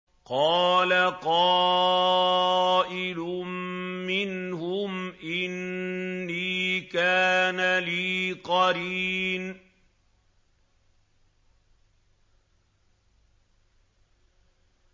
قَالَ قَائِلٌ مِّنْهُمْ إِنِّي كَانَ لِي قَرِينٌ